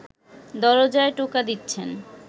দরজায় টোকা দিচ্ছেন